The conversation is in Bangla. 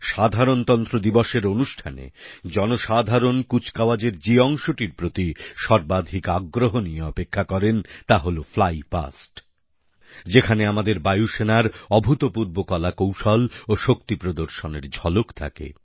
সাধারণতন্ত্র দিবসের অনুষ্ঠানে জনসাধারণ কুচকাওয়াজের যে অংশটির প্রতি সর্বাধিক আগ্রহ নিয়ে অপেক্ষা করেন তা হল ফ্লাই পাস্ট যেখানে আমাদের বায়ুসেনার অভূতপূর্ব কলাকৌশল ও শক্তি প্রদর্শনের ঝলক থাকে